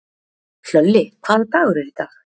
Hlölli, hvaða dagur er í dag?